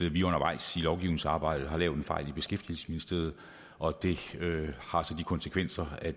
at vi undervejs i lovgivningsarbejdet har lavet en fejl i beskæftigelsesministeriet og det har så de konsekvenser at